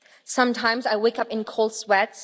Sometimes I wake up in a cold sweat.